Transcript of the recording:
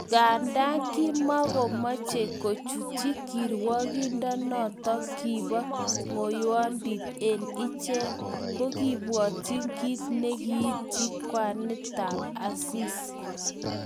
Nganda kimakomochei kochutyi kirwokonoto kibo ngoiyondit eng iche, ko kiibwatyi kit nekiityi kwanitab Asisi